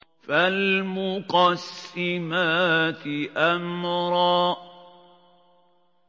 فَالْمُقَسِّمَاتِ أَمْرًا